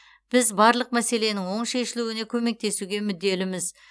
біз барлық мәселенің оң шешілуіне көмектесуге мүдделіміз